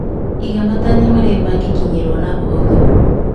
Iga matanya marĩa mangĩkinyĩrwo na ũhũthũ.